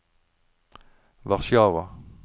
Warszawa